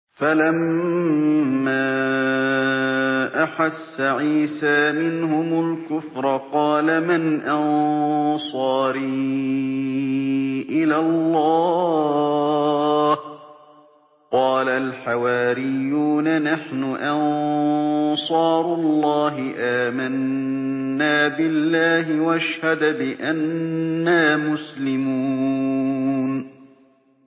۞ فَلَمَّا أَحَسَّ عِيسَىٰ مِنْهُمُ الْكُفْرَ قَالَ مَنْ أَنصَارِي إِلَى اللَّهِ ۖ قَالَ الْحَوَارِيُّونَ نَحْنُ أَنصَارُ اللَّهِ آمَنَّا بِاللَّهِ وَاشْهَدْ بِأَنَّا مُسْلِمُونَ